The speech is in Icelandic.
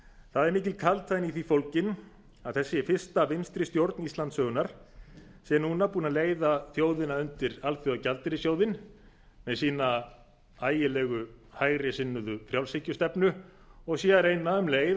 það er mikil kaldhæðni í því fólgin að þessi fyrsta vinstri stjórn íslandssögunnar sé núna búin að leiða þjóðina undir alþjóðagjaldeyrissjóðinn með sína ægilegu hægri sinnuðu frjálshyggjustefnu og sé um leið að reyna að